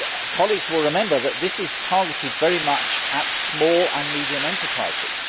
Colleagues will remember that this is targeted very much at small and medium sized enterprises.